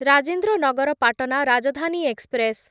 Rajendra Nagar Patna Rajdhani express